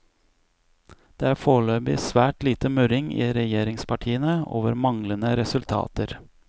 Det er foreløpig svært lite murring i regjeringspartiene, over manglende resultater.